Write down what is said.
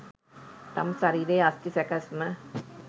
තම ශරීරයේ අස්ථි සැකැස්ම